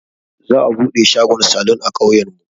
Za'a buɗe shagon salun a ƙauyen mu.